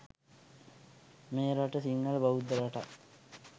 මේ රට සිංහල බෞද්ධ රටක්.